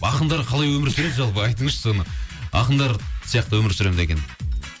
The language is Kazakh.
ақындар қалай өмір сүреді жалпы айтыңызшы соны ақындар сияқты өмір сүремін деген